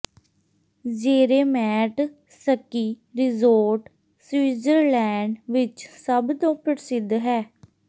Zermatt ski resort Switzerland ਵਿਚ ਸਭ ਤੋਂ ਪ੍ਰਸਿੱਧ ਹੈ